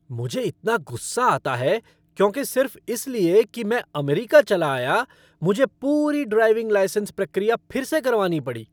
मुझे इतना गुस्सा आता है क्योंकि सिर्फ इस लिए कि मैं अमेरिका चला आया, मुझे पूरी ड्राइविंग लाइसेंस प्रक्रिया फिर से करवानी पड़ी।